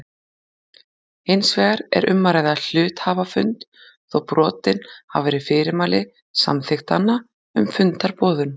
Hins vegar er um að ræða hluthafafund þó brotin hafi verið fyrirmæli samþykktanna um fundarboðun.